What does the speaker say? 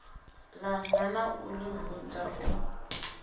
ḽanga na u ḓihudza u